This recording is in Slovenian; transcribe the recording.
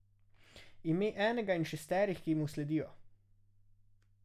Ime enega in šesterih, ki mu sledijo.